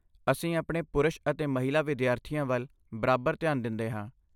ਅਸੀਂ ਆਪਣੇ ਪੁਰਸ਼ ਅਤੇ ਮਹਿਲਾ ਵਿਦਿਆਰਥੀਆਂ ਵੱਲ ਬਰਾਬਰ ਧਿਆਨ ਦਿੰਦੇ ਹਾਂ।